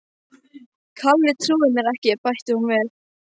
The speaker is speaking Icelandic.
Kalli trúir mér ekki bætti hún við.